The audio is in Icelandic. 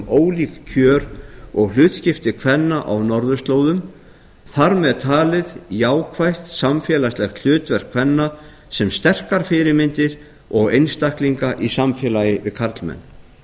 ólík kjör og hlutskipti kvenna á norðurslóðum þar með talið jákvætt samfélagslegt hlutverk kvenna sem sterkar fyrirmyndir og einstaklinga í samfélagi við karlmenn